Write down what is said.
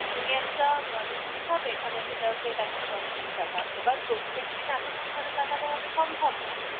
তুমি একটা mango juice খাবে এখানে সেটা একশো দশ কুড়ি টাকা এবার প্রত্যেকদিন এত পরিমাণ টাকা দেওয়া তো সম্ভব নয়